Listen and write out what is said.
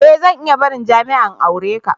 E! Zan iya barin jami'a in aure ka.